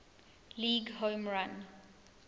league home run